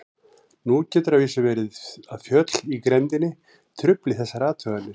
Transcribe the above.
Nú getur að vísu verið að fjöll í grenndinni trufli þessar athuganir.